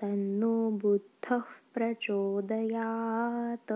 तन्नो बुधः प्रचोदयात्